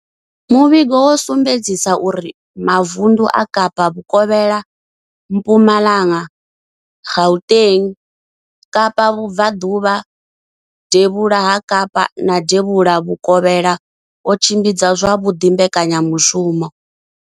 Muvhigo wo sumbedzisa uri mavundu a Kapa Vhukovhela, Mpumalanga, Gauteng, Kapa Vhubva ḓuvha, Devhula ha Kapa na Devhula Vhukovhela o tshimbidza zwavhuḓi mbekanyamushumo.